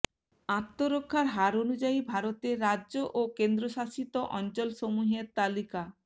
আত্মহত্যার হার অনুযায়ী ভারতের রাজ্য ও কেন্দ্রশাসিত অঞ্চলসমূহের তালিকা